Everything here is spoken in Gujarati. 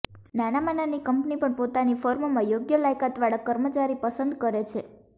નાનામાં નાની કંપની પણ પોતાની ફર્મમાં યોગ્ય લાયકાત વાળા કર્મચારી પસંદ કરે છે